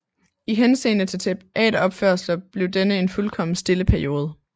I henseende til teateropførelser blev denne en fuldkommen stille periode